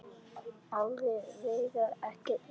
Alla vega ekki enn.